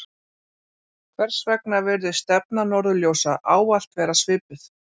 hvers vegna virðist stefna norðurljósa ávallt vera svipuð